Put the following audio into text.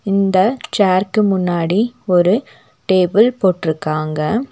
இந்த சேர்க்கு முன்னாடி ஒரு டேபிள் போட்றுக்காங்க.